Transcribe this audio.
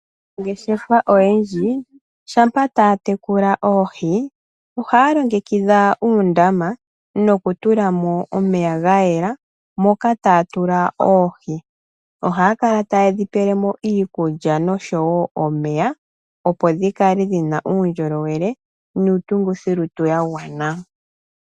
Aanangeshefa oyendji shampa taya tekula oohi ohaya longekidha uundama nokutula mo omeya ga yela moka taya tula mo oohi . Ohaya kala taye dhi pele mo iikulya noshowo omeya opo dhi kale dhi na uundjolowele niitungithilutu ya gwana.